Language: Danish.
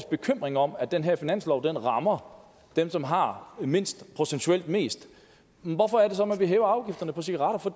bekymring om at den her finanslov rammer dem som har mindst procentuelt mest hvorfor er det så man vil hæve afgifterne på cigaretter for